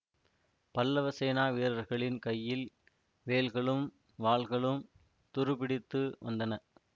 பல்லவ சேனா வீரர்களின் கையில் வேல்களும் வாள்களும் துருப்பிடித்து வந்தன